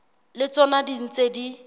le tsona di ntse di